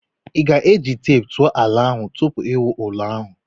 Ị ga-eji teepu tụọ ala ahụ tupu i wuo ụlọ ahụ?